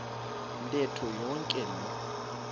ntetho yonke loo